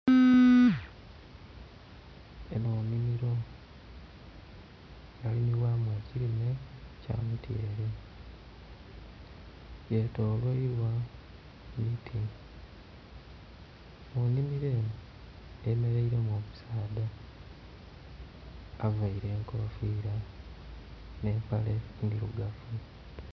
enho nhimilo yalimibwamu ekilime ky'amutyele, yetolwailwa miti mu nhimilo enho eyemeleilemu omusaadha availe enkofila nh'empale ndhilugavu